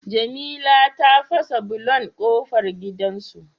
Jamila ta fasa bulon kofar gidan su